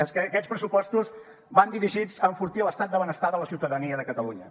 és que aquests pressupostos van dirigits a enfortir l’estat de benestar de la ciutadania de catalunya